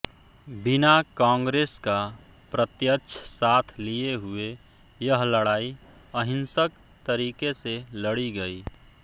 बिना कांग्रेस का प्रत्यक्ष साथ लिए हुए यह लड़ाई अहिंसक तरीके से लड़ी गई